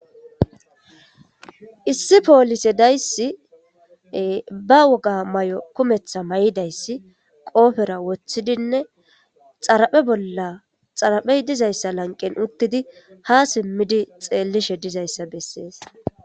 Issi poolise dayssi ba wogaa mayuwa kumeththa mayida isi qoopera woththidinne xaraphe bolla xarphezizayssa lanqqen uththidi haa simmidi xeellishe dizayssa bessees.